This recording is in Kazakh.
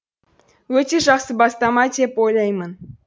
өте жақсы бастама деп ойлаймын